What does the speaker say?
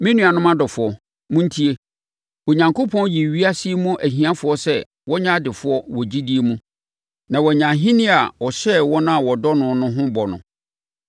Me nuanom adɔfoɔ, montie! Onyankopɔn yii ewiase yi mu ahiafoɔ sɛ wɔnyɛ adefoɔ wɔ gyidie mu na wɔanya ahennie a ɔhyɛɛ wɔn a wɔdɔ no no ho bɔ no.